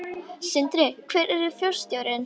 Sindri: Hver yrði forstjórinn?